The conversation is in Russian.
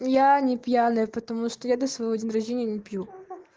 я не пьяная потому что я до своего день рождения не пью